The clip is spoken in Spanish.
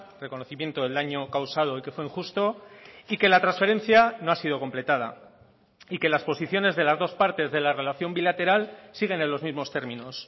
reconocimiento del daño causado y que fue injusto y que la transferencia no ha sido completada y que las posiciones de las dos partes de la relación bilateral siguen en los mismos términos